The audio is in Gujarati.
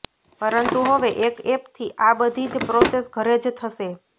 પરંતુ હવે એક એપથી આ બધી જ પ્રોસેસ ઘરે જ થશે